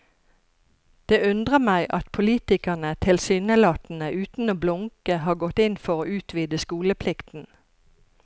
Det undrer meg at politikerne tilsynelatende uten å blunke har gått inn for å utvide skoleplikten.